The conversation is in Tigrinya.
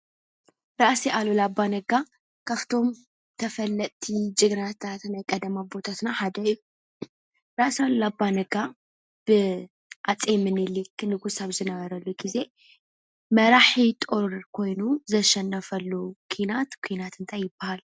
ራእሲ ኣሉላ ኣባነጋ ካፍቶም ተፈለጥቲ ጀግናታት ናይ ቀደም ኣቦታትና ሓደ እዩ፡፡ ራእሲ ኣሉላ ኣባነጋ ብሃፀይ ሚኒሊክ ንጉስ ኣብ ዝነበሩሉ ጊዜ መራሒ ጦር ኮይኑ ዘሸነፈሉ ኩናት ኵናት እንታይ ይባሃል?